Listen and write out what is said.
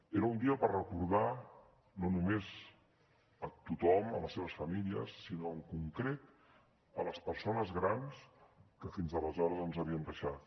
era un dia per recordar no només tothom les seves famílies sinó en concret les persones grans que fins aleshores ens havien deixat